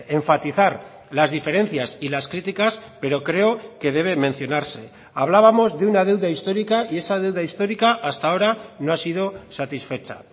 enfatizar las diferencias y las críticas pero creo que debe mencionarse hablábamos de una deuda histórica y esa deuda histórica hasta ahora no ha sido satisfecha